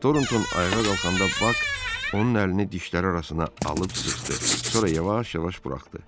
Tornton ayağa qalxanda Bak onun əlini dişləri arasına alıb sıxdı, sonra yavaş-yavaş buraxdı.